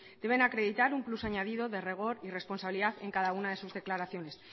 deben acreditar un plus añadido de rigor y responsabilidad en cada una de sus declaraciones